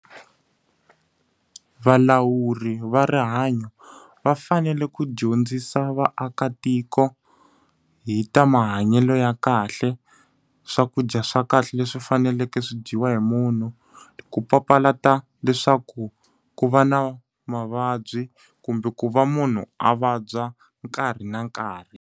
Valawuri va rihanyo, va fanele ku dyondzisa vaakatiko hi ta mahanyelo ya kahle, swakudya dya swa kahle leswi faneleke swi dyiwa hi munhu Ku papalata leswaku ku va na mavabyi kumbe ku va munhu a vabya nkarhi na nkarhi.